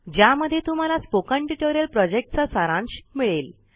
httpspoken tutorialorgWhat is a Spoken Tutorial ज्यामध्ये तुम्हाला project चा सारांश मिळेल